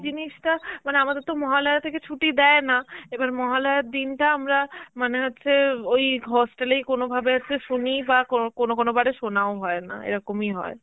জিনিসটা মানে আমাদের তো মহালয়া থেকে ছুটি দেয় না, এবার মহালয়ার দিনটা আমরা, মানে হচ্ছে ওই hostel এই কোন ভাবে একটু শুনি বা কোন~ কোনো কোনো বারে শোনাও না, এরকমই হয়.